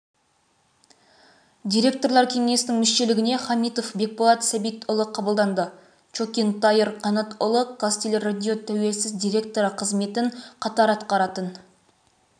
директорлар кеңесінің мүшелігіне хамитов бекболат сәбитұлы қабылданды чокин таир қанатұлы қазтелерадио тәуелсіз директоры қызметін қатар атқаратын